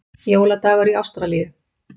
Jóladagur í Ástralíu!